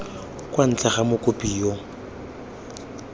kwa ntle ga mokopi yo